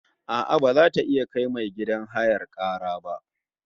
A'a, baza ta iya kai mai gidan hayar kara ba